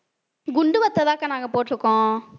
குண்டு வத்தல்தான்க்கா நாங்க போட்டிருக்கோம்